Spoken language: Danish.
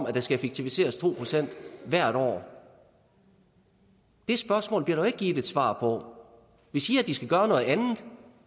at der skal effektiviseres to procent hvert år det spørgsmål bliver der jo ikke givet et svar på vi siger at de skal gøre noget andet